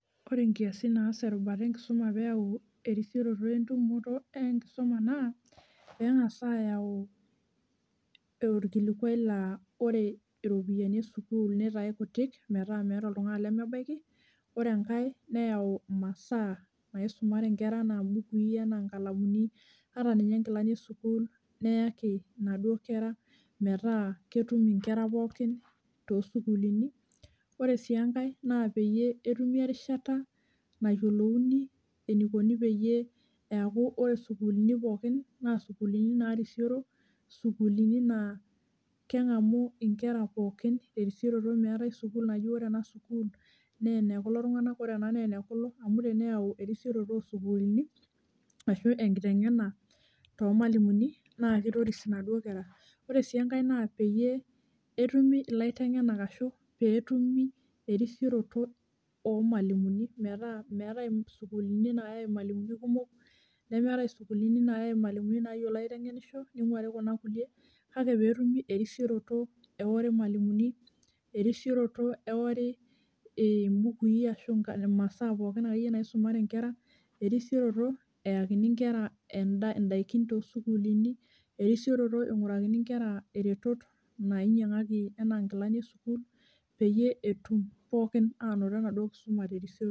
Ore nkiasin naas erubata enkisuma peyau erisiroto entumoto enkisuma naa pengasae ayau orkilikwai laa ore iropiyiani esukuul , nitae kutik metaa, meetae oltungani lemebaiki , ore enkae neyau m`masaa naisumare inkera enaa mbukui enaa nkalamuni ata ninye nkilani esukuul neyaki inaduo kera , metaa ketum inkera pookin toosukulini. Ore si enkae naa peyie etumi erishata nayiolouni enikoni peyie eaku ore sukuulini poookin naa sukuulini narisioro, sukuulini naa kengamu inkera pookin terisioroto , meetae sukuul naji ore ena sukuul naa enekulo tunganak , ore ena naa enekulo, amu teneyau erisiroto osukuulini ashu enkitengena toomwalimuni naa kitoris inaduo kera, ore si enkae naa peyie etumi ilaitengenak ashu peetumi erisioroto ormwalimuni metaa meetae isukuulini nayae irmwalimuni kumok nemeetae isukuulini nayae irmwalimuni nayiolo aitengenisho , ningwari kuna kulie , kake peetumi erisioroto ewori irmwalimuni , erisioroto eori imbukui ashu imasaa pookin akeyie naisumare inkera, erisioroto eyakini inkera endaa, ndaikin toosukuulini , erisioroto ingurakini inkera iretot nainyiangaki inkera anaa nkilani esukuul peyie etumoki pookin anoto enaduo kisuma terisioroto.